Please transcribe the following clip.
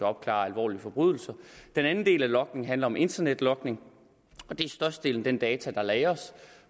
opklare alvorlige forbrydelser den anden del af logningen handler om internettlogning og det er størstedelen af de data der lagres